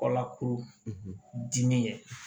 Kɔlakuru dimi ye